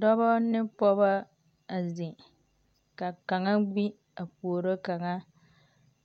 Dɔbɔ ne pɔgebɔ a zeŋ, ka kaŋa gbi a puoro kaŋa.